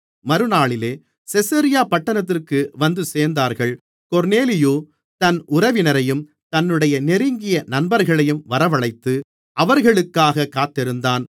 மறுநாளிலே செசரியா பட்டணத்திற்கு வந்துசேர்ந்தார்கள் கொர்நேலியு தன் உறவினரையும் தன்னுடைய நெருங்கிய நண்பர்களையும் வரவழைத்து அவர்களுக்காகக் காத்திருந்தான்